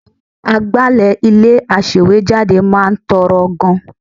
Àwọn agbálẹ̀ ilé-aṣèwéjádé máa ń tọrọ gan-an